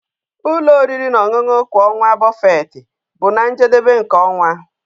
Ụlọ oriri na ọṅụṅụ kwa ọnwa buffet bụ na njedebe nke ọnwa.